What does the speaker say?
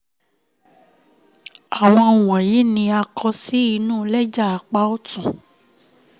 áwọn wọ̀nyìí ni a kọ sí inu lẹ́jà apá ọ̀tún